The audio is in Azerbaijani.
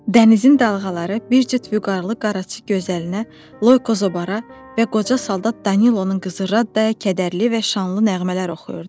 Dənizin dalğaları bir cüt vüqarlı qaraçı gözəlinə, Loyko Zobara və qoca saldat Danilonun qızı Raddaya kədərli və şanlı nəğmələr oxuyurdu.